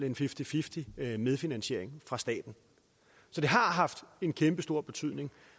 en fifty fifty medfinansiering fra staten så det har haft en kæmpestor betydning og